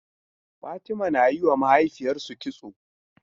Fatimah na yi wa mahaifiyarsu kitso.